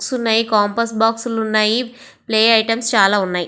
Books ఉన్నాయి. Compass box లు ఉన్నాయి. ప్లే ఐటెమ్స్ చాలా ఉన్నాయి.